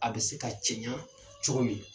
A be se ka cɛɲa cogo min.